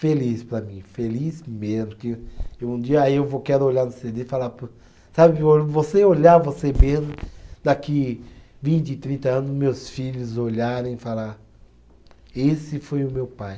Feliz para mim, feliz mesmo, que um dia eu vou, quero olhar no cê dê e falar po, sabe, você olhar você mesmo, daqui vinte, trinta anos, meus filhos olharem e falar, esse foi o meu pai.